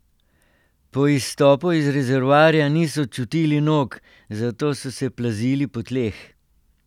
Po izstopu iz rezervoarja niso čutili nog, zato so se plazili po tleh.